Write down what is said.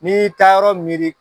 Ni y'i taa yɔrɔ miiri